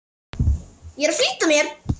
Ég er að flýta mér!